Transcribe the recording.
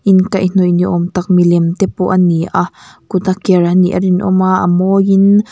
inkaihhnawih ni awm tak milem te pawh a ni a kut a ker a nih a rinawm a a mawiin --